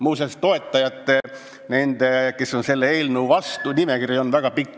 Muuseas, nende nimekiri, kes on selle eelnõu vastu, on väga pikk.